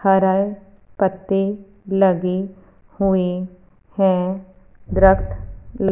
हरल पत्ते लगे हुएं हैं अ--